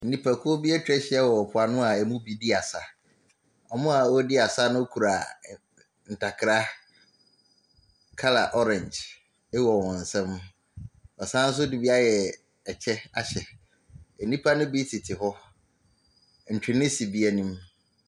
Nnipakuo bi atwa ahyia wɔ mpoano a ɛmu bi redi asa. Wɔn a wɔredi asa no kura ɛ ɛ ntakra. Colour orange wɔ wɔn nsam. Wɔsan nso de bi ayɛ kyɛ ahyɛ, nnipa no bi tete hɔ. Ntwene si bi anim.